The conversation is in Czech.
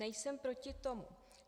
Nejsem proti tomu.